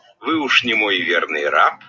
вы ушли мой верный раб